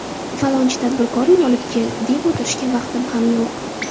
Falonchi tadbirkorni olib kel, deb o‘tirishga vaqtim ham yo‘q.